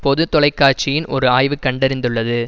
பொது தொலைக்காட்சியின் ஓர் ஆய்வு கண்டறிந்துள்ளது